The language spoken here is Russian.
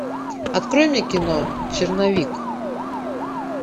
открой мне кино черновик